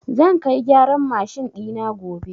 Zan kai gyaran mashin ɗina gobe.